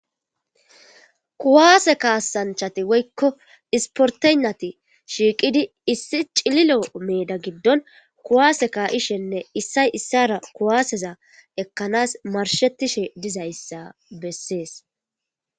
kuwaase kaasanchati woykko isportenati shiiqidi issi cililo meeda giddon kuwaase ka7ishenne issay issara kuwaaseza ekkanas marshetishe dizayssa bessees